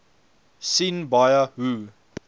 sien baie hoe